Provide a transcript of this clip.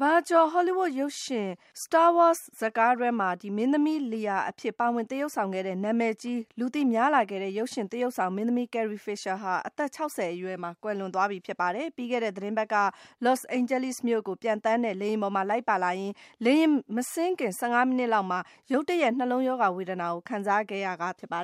ဘာကျော် ဟောလီးဝုဒ်ရုပ်ရှင် Star Wars ဇာတ်ကားတွဲမှာ မင်းသမီး Leia အဖြစ် ပါဝင်သရုပ်ဆောင်ခဲ့ရာက နာမည်ကြီး လူသိများလာခဲ့တဲ့ ရုပ်ရှင်သရုပ်ဆောင် မင်းသမီး Carrie Fisher ဟာ အသက် ၆၀ အရွယ်မှာ ကွယ်လွန်သွားပါပြီ။ ပြီးခဲ့တဲ့ သီတင်းပတ်က Los Angeles မြို့ကို ပျံသန်းတဲ့ လေယာဉ်ပေါ်မှာ လိုက်ပါလာရင်း - လေယာဉ်မဆင်းခင် ၁၅ မိနစ်လောက်မှာ ရုတ်တရက် နှလုံးရောဂါဝေဒနာကို ခံစားခဲ့ရတာပါ